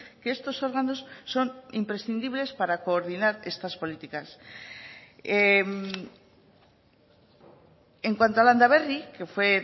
que estos órganos son imprescindibles para coordinar estas políticas en cuanto a landaberri que fue